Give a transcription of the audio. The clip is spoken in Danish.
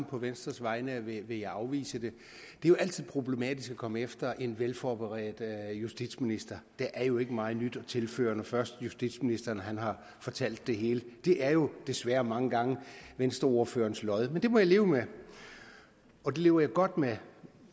på venstres vegne vil jeg afvise det det er altid problematisk at komme efter en velforberedt justitsminister der er jo ikke meget nyt at tilføre når først justitsministeren har fortalt det hele det det er jo desværre mange gange venstreordførerens lod men det må jeg leve med og det lever jeg godt med